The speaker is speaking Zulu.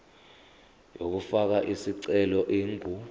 yokufaka isicelo ingu